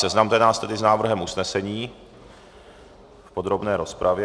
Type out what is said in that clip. Seznamte nás tedy s návrhem usnesení v podrobné rozpravě.